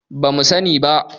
ba mu sani ba